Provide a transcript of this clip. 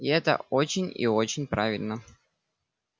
и это очень и очень правильно